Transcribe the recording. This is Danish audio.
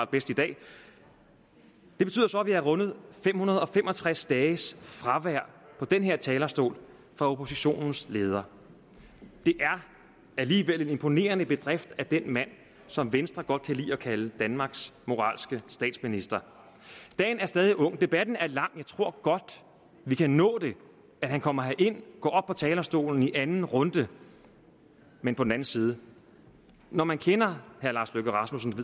bedst i dag det betyder så at vi har rundet fem hundrede og fem og tres dages fravær på den her talerstol for oppositionens leder det er alligevel en imponerende bedrift af den mand som venstre godt kan lide at kalde danmarks moralske statsminister dagen er stadig ung debatten er lang jeg tror godt vi kan nå at han kommer herind går op på talerstolen i anden runde men på den anden side når man kender herre lars løkke rasmussen